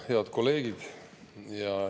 Head kolleegid!